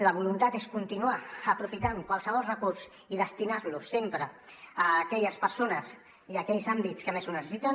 la voluntat és continuar aprofitant qualsevol recurs i destinar lo sempre a aquelles persones i a aquells àmbits que més ho necessiten